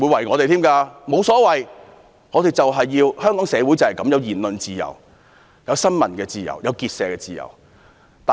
我沒所謂，反正香港社會就是需要言論自由、新聞自由、結社自由。